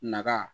Naga